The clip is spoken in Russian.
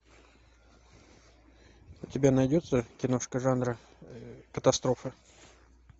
у тебя найдется киношка жанра катастрофы